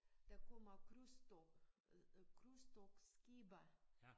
Der kommer krydstogt øh krydstogtskibe